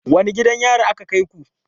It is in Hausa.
Wane gidan yari aka kai ku?